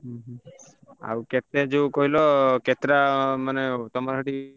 ହୁଁ ହୁଁ ଆଉ କେତେ ଯୋଉ କହିଲ କେତେଟା ମାନେ ତମ ସେଠି।